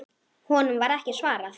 Honum var ekki svarað.